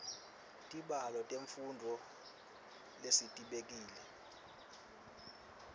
tibalo temfundvo lesitibekele